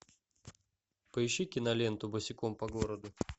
поищи киноленту босиком по городу